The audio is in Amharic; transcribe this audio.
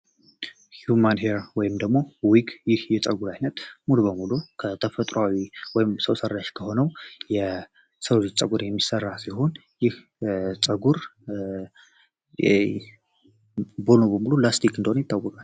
ሂዩማን ሄር ወይም ዊግ ይህ የፀጉር አይነት ሙሉ በሙሉ ከተፈጥሮአዊ ወይም ሰው ሰራሽ ከሆነው የሰው ልጅ ፀጉር የሚሰራ ሲሆን ይህ ፀጉር ሙሉ ለሙሉ ላስቲክ እንደሆነ ይታወቃል።